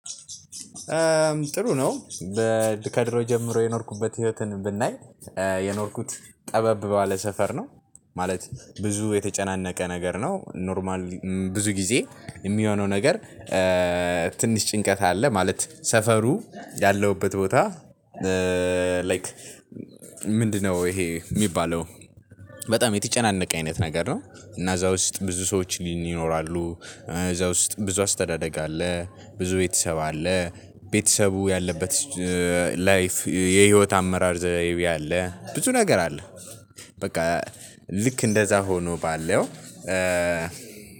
ጥሩ ነው በድ ከድሮ ጀምሮ የኖርኩበት ህይወትን ብናይ የኖርኩት ጠበብ ባለ ሰፈር ነው። ማለት ብዙ የተጨናነቀ ነገር ነው ኖርማል ብዙ ጊዜ የሚሆነው ነገር። ትንሽ ጭንቀት አለ ማለት ሰፈሩ ያለሁበት ቦታ ላይክ ምንድነው? ይሄ የሚባለው በጣም የተጨናነቀ አይነት ነገር ነው። እና እዛ ውስጥ ብዙ ሰዎች ይኖራሉ እዛ ውስጥ ብዙ አስተዳደግ አለ ብዙ ቤተሰብ አለ ቤተሰቡ ያለበት ላይፍ የህይወት አመራር ዘርይቤ አለ ብዙ ነገር አለ። በቃ ልክ እንደዛ ሆኖ ባለው